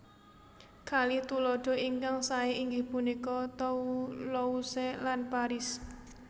Kalih tuladha ingkang saé inggih punika Toulouse lan Paris